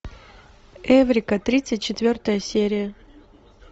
эврика тридцать четвертая серия